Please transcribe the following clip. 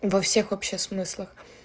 во всех вообще смыслах